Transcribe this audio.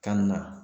Kan na